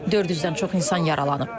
400-dən çox insan yaralanıb.